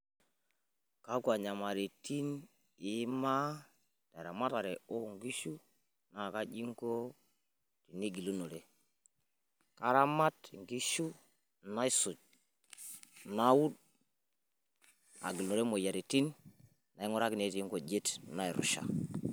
Kakua nyamalaratin iyimaa te ramatare oo nkishu naa kaji inko igilunore? karamat inkishu naisuj ,nawuud, agilunore moyiaritin nainguraki netii' inkujiit nairusha